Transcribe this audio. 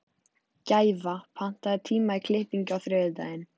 Gæfa, pantaðu tíma í klippingu á þriðjudaginn.